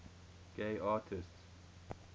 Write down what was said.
gay artists